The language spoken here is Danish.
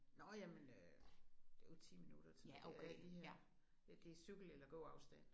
Nåh jamen øh det jo 10 minutter. Det er jo lige her. Ja det cykel eller gåafstand